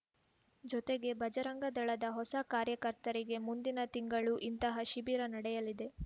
ಜೊತೆಗೆ ಬಜರಂಗ ದಳದ ಹೊಸ ಕಾರ್ಯಕರ್ತರಿಗೆ ಮುಂದಿನ ತಿಂಗಳೂ ಇಂತಹ ಶಿಬಿರ ನಡೆಯಲಿದೆ